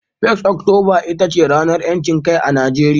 1 ga Oktoba ita ce ranar ‘yancin kai a Najeriya.